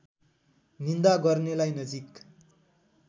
निन्दा गर्नेलाई नजिक